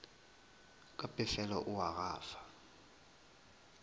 ka pefelo o a gafa